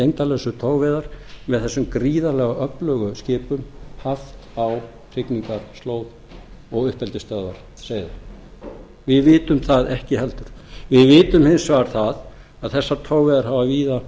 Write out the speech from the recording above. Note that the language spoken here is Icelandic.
þessar gengdarlausu togveiða með þessum gríðarlega öflugu skipum haft á hrygningarslóð og uppeldisstöðvar seiða við vitum það ekki heldur við vitum hins vegar það að þessar togveiðar hafa víða